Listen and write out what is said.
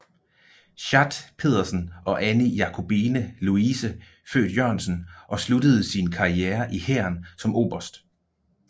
Schat Petersen og Anine Jakobine Louise født Jørgensen og sluttede sin karriere i hæren som oberst